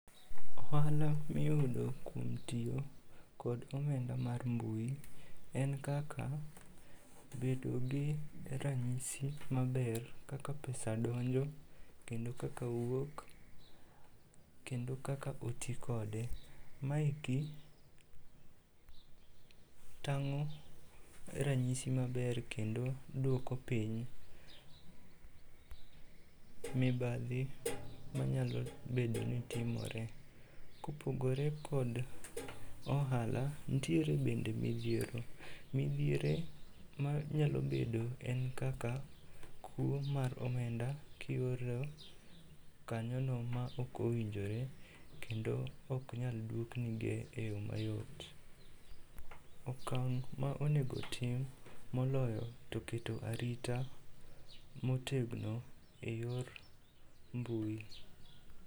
Ohala miyudo kuom tiyo kod omenda mar mbui en kaka bedogi ranyisi maber kaka pesa donjo kendo kaka wuok kendo kaka otikode. Maeki tang'o ranyisi maber kendo duoko piny mibadhi manyalo bedoni timore. Kopogore kod ohala, ntiere bende midhiero. Midhiere manyalo bedo en kaka kuo mar omenda kioro kanyono maok owinjore kendo oknyal duoknige e yo mayot. Okang' ma onego tim moloyo to keto arita motegno e yor mbui.